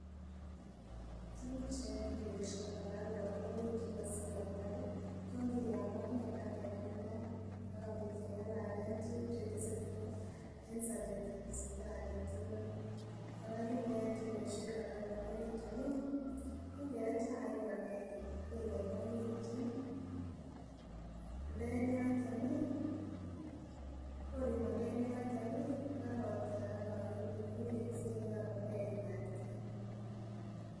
Tukuk cheyoe tuyosiek alak kokaranekitu kosir alak kongiyamoke ageng'alal akobiit keng'alalen tuguk chetesetai en sobetab chito aketugul kora kinayoe tuyosiek alak kokaranegitu ih konge'e chaik kibakenge akeboiboegitun ndo en yoton ih kor imandoi en yoton ih kokakotiakag akilit ng'ung iweksei kaa komeimat ke.